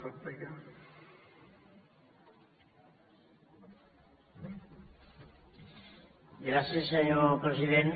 gràcies senyor president